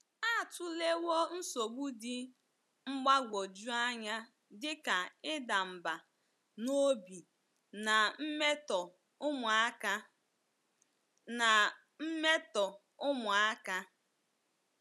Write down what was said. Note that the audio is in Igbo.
Atụlewo nsogbu dị mgbagwoju anya dị ka ịda mbà n’obi na mmetọ ụmụaka. na mmetọ ụmụaka.